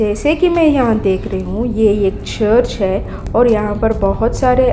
जैसे कि मैं यहाँ देख रही हूँ ये एक चर्च है और यहाँ पर बहुत सारे --